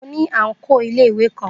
Mo ní àǹkóò iléèwé kan